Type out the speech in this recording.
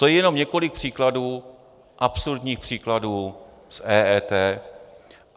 To je jenom několik příkladů, absurdních příkladů z EET.